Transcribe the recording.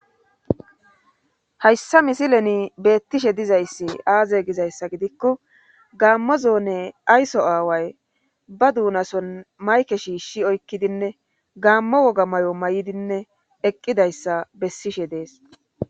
hayssa misileni beettishe dizayssi aaze gizayssa gidikko gaammo zoone ayso aaway ba duunason mayke shiishshi oykkidinne gaammo woga may7o may7idinne eqqidayssa bessishe dees